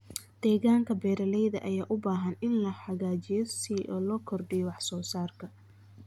Deegaanka beeralayda ayaa u baahan in la hagaajiyo si loo kordhiyo wax soo saarka.